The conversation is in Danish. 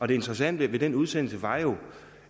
det interessante ved den udsendelse var jo